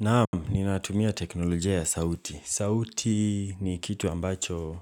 Naam, ninatumia teknolojia ya sauti. Sauti ni kitu ambacho